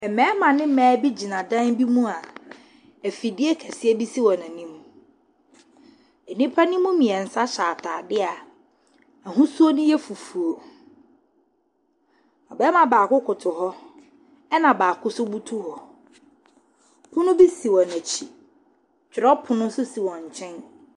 Mmarima ne mmaa bi gyina dan bi mu a, afidie kɛseɛ bi si wɔn anim. Nnipa no mu mmiɛnsa hyɛ ataadeɛ a ahosuo no yɛ fufuo. Ↄbarima baako koto hɔ ɛna baako nso butu hɔ. pono bi si wɔn akyi, twerɛpono nso si wɔn nkyɛn.